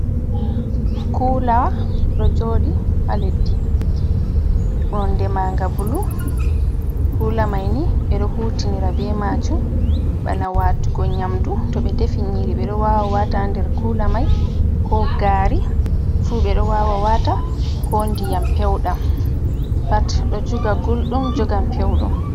Kulaa ɗo joɗi ha leddi nonde manga bulu, kula maini ɓe ɗo hutinira be majum bana watugo nyamdu, to be defi ni ɓe ɗo wawa wata nder kula mai, ko gari fu ɓe ɗo wawa wata, ko ndiyam pewdam pat do joga gullɗum jogan pewɗum.